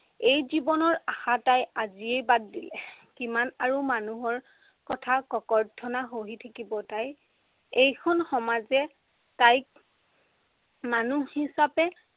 এই জীৱনৰ আশা তাই আজিয়েই বাদ দিলে। কিমান আৰু মানুহৰ কথা ককৰ্থনা সহি থাকিব তাই। এইখন সমাজে তাইক মানুহ হিচাপে